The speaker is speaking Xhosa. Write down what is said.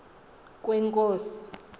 kwenkosi